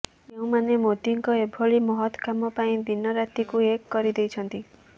ଯେଉଁମାନେ ମୋଦିଙ୍କ ଏଭଳି ମହତ କାମ ପାଇଁ ଦିନ ରାତିକୁ ଏକ କରିଦେଇଛନ୍ତି